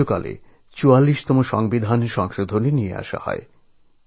তাঁর প্রধানমন্ত্রীত্বের সময়কালেই ৪৪তম সংবিধান সংশোধনের প্রস্তাব করা হয়